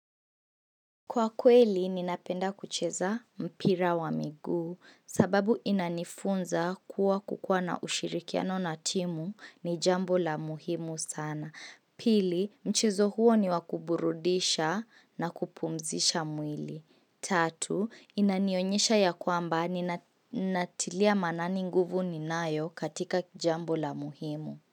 Kwa kweli, ninapenda kucheza mpira wa miguu sababu inanifunza kuwa kukua na ushirikiano na timu ni jambo la muhimu sana. Pili, mchezo huo ni wa kuburudisha na kupumzisha mwili. Tatu, inanionyesha ya kwamba ninatilia manani nguvu ninayo katika jambo la muhimu.